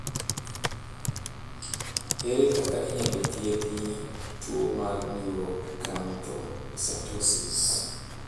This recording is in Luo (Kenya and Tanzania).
Ere kaka inyalo thiethi tuo mar neuroacanthocytosis ?